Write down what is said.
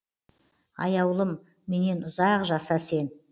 аяулым менен ұзақ жаса сен